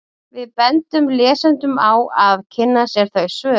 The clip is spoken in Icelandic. Við bendum lesendum á að kynna sér þau svör.